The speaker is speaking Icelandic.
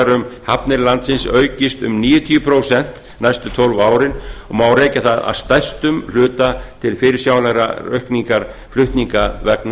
um hafnir landsins aukist um níutíu prósent næstu tólf árin og má rekja það að stærstum hluta til fyrirsjáanlegrar aukningar flutninga vegna